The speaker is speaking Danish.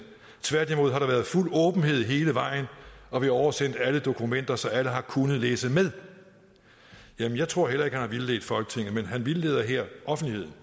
tværtimod har der været fuld åbenhed hele vejen og vi har oversendt alle dokumenter så alle har kunnet læse med jeg tror heller ikke har vildledt folketinget men han vildleder her offentligheden